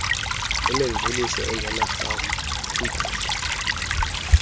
enemveliso engenarhafu kwiimpahla